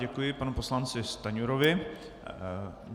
Děkuji panu poslanci Stanjurovi.